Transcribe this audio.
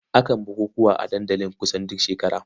Akan bukukuwa a dandali kusan duk shekara.